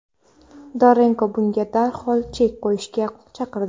Dorenko bunga darhol chek qo‘yishga chaqirdi.